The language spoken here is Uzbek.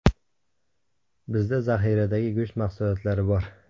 Bizda zaxiradagi go‘sht mahsulotlari bor.